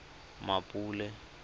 mmapule